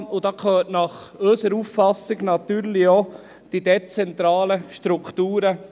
Dazu gehören nach unserer Auffassung natürlich auch die dezentralen Strukturen.